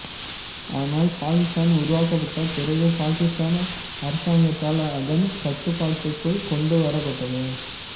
ஆனால் பாகிஸ்தான் உருவாக்கப்பட்ட பிறகு பாகிஸ்தான் அரசாங்கத்தால் அதன் கட்டுப்பாட்டுக்குள் கொண்டுவரப்பட்டது